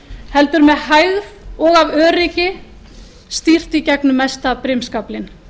heldur með hægð og af öryggi stýrt í gegnum mesta brimskaflinn